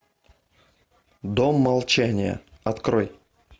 дом молчания открой